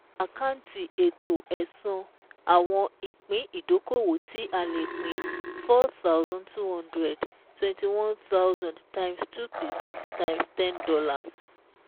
Àkáǹtì Ètò Ẹ̀san àwọn ìpín ìdókòwò tí a lè pín 4,200 21,000 x 2 percent x $10.